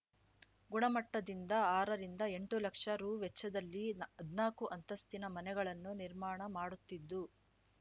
ಗುಣಮಟ್ಟದಿಂದ ಆರ ರಿಂದ ಎಂಟು ಲಕ್ಷ ರೂ ವೆಚ್ಚದಲ್ಲಿ ಹದ್ನಾಕು ಅಂತಸ್ತಿನ ಮನೆಗಳನ್ನು ನಿರ್ಮಾಣ ಮಾಡುತ್ತಿದ್ದು